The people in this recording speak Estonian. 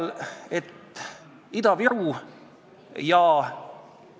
Meil on nüüd täiendava meetmena välja pakutud, et tuleks suurema malakaga anda.